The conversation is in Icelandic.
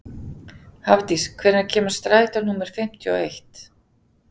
Hafdís, hvenær kemur strætó númer fimmtíu og eitt?